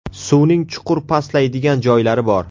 Suvning chuqur pastlaydigan joylari bor.